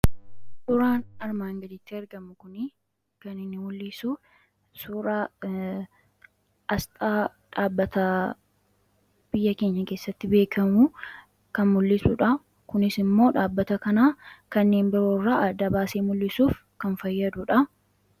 Suuraan armaan gadii kuni kan inni mul'isu suuraa Aasxaa dhaabbata biyya keenya keessatti beekamu kan mul'isudha. Kunis immoo dhaabbata kana kanneen biroorraa adda baasee mul'isuuf kan fayyadudha.